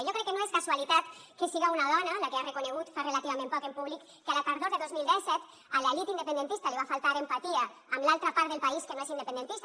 jo crec que no és casualitat que siga una dona la que ha reconegut fa relativament poc en públic que la tardor de dos mil disset a l’elit independentista li va faltar empatia amb l’altra part del país que no és independentista